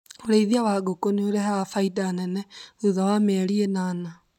ũrĩithia wa ngũkũ nĩũrehaga baida nene thutha wa mĩeri ĩnana